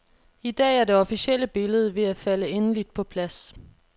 I dag er det officielle billede ved at falde endeligt på plads.